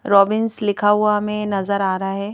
Robbins लिखा हुआ हमें नजर आ रहा है।